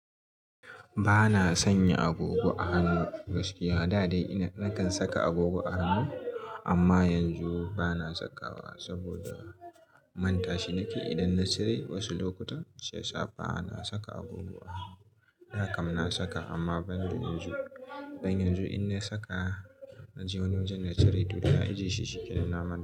Ba na sanya agogo a hannu gaskiya. Da dai ina nakan saka agogo a hannu amma yanzu ba na saka wa saboda manta shi nake. Idan na cire wasu lokuta sai sa bana saka agogo a hannu. Da kam na saka amma ban da yanzu. Dan yanzu in na saka na je wani wajen na cire to dana a ji shi shikenan namanta.